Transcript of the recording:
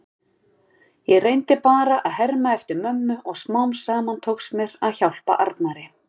Ég reyndi bara að herma eftir mömmu og smám saman tókst mér að hjálpa Arnari.